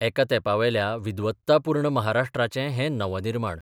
एका तेंपावेल्या विद्वत्तापुर्ण महाराष्ट्राचें हें नवनिर्माण.